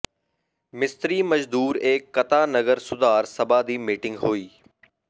ਮਿਸਤਰੀ ਮਜ਼ਦੂਰ ਏ ਕਤਾ ਨਗਰ ਸੁਧਾਰ ਸਭਾ ਦੀ ਮੀਟਿੰਗ ਹੋਈ